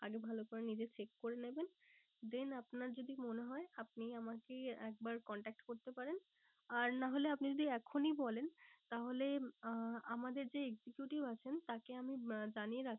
আগে ভালো করে নিজে check করে নেবেন। then আপনার যদি মনে হয় আপনি আমাকে একবার contract করতে পারেন। আর না হলে আপনি যদি এখনই বলেন তাহলে আহ আমাদের যে executive আছেন তাকে আমি আহ জানিয়ে